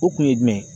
O kun ye jumɛn ye